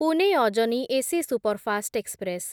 Pune Ajni AC superfast express